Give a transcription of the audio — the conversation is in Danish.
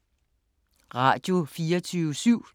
Radio24syv